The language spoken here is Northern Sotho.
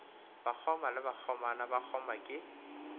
bakgoma le bakgomana bakgoma ke